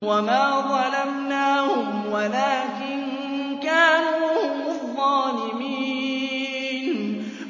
وَمَا ظَلَمْنَاهُمْ وَلَٰكِن كَانُوا هُمُ الظَّالِمِينَ